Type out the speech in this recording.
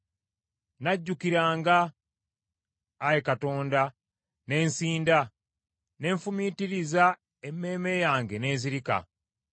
Nakujjukiranga, Ayi Katonda ne nsinda, ne nfumiitiriza emmeeme yange n’ezirika.